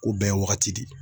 Ko bɛɛ ye wagati de ye.